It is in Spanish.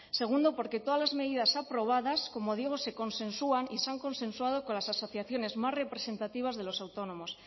segundo porque todas las medidas aprobadas como digo se consensuan y se han consensuado con las asociaciones más representativas de los autónomos